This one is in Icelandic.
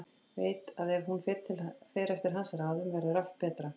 Veit að ef hún fer eftir hans ráðum verður allt betra.